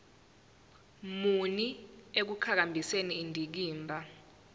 muni ekuqhakambiseni indikimba